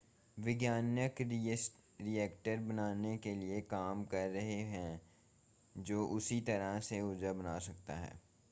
वैज्ञानिक रिएक्टर बनाने के लिए काम कर रहे हैं जो उसी तरह से ऊर्जा बना सकता है